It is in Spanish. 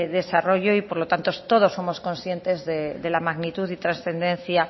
desarrollo y por lo tanto todos somos conscientes de la magnitud y transcendencia